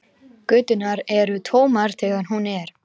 Göturnar eru tómar þegar hún er.